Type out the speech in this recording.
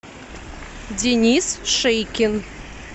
денис шейкин